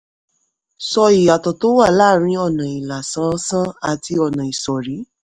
sọ ìyàtò tó wà láàárín ọ̀nà ìlà ṣánṣán àti ọ̀nà ìsọ̀rí.